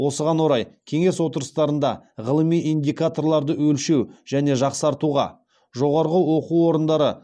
осыған орай кеңес отырыстарында ғылыми индикаторларды өлшеу және жақсартуға жоғарғы оқу орындары